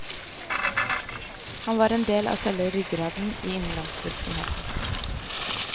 Han var en del av selve ryggraden i innlandsvirksomheten.